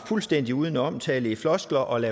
fuldstændig udenom tale i floskler og